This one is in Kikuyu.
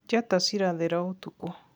njata cirathera ũtukũ